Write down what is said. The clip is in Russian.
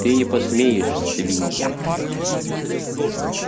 ты не посмеешь свинья